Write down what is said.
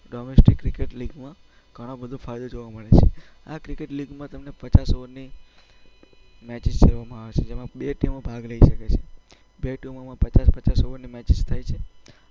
Domestic cricket લીગમાં ઘણો બધો ફાયદો જોવા મળે છે. આ ક્રિકેટ લીગમાં તમને પચાસ ઓવરની મેચિસ રમવામાં આવે છે. જેમાં બે ટીમો ભાગ લઈ શકે છે. બે ટીમોમાં પચાસ-પચાસ ઓવરની મેચ થાય છે.